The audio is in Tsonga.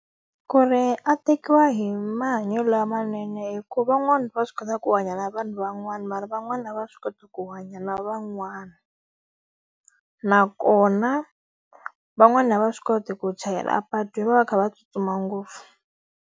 Ku ri a tekiwa hi mahanyelo lamanene hikuva van'wana va swi kota ku hanya na vanhu van'wana mara van'wani a va swi koti ku hanya na van'wana. Nakona, van'wani a va swi koti ku chayela apatwini va va va kha va tsutsuma ngopfu.